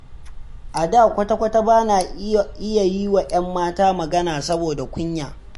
A da kwata-kwata bana iya yiwa 'yan mata magana, saboda kunya.